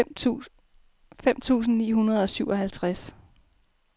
fem tusind ni hundrede og syvoghalvtreds